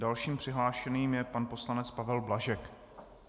Dalším přihlášeným je pan poslanec Pavel Blažek.